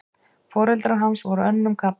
Foreldrar hans voru önnum kafnir.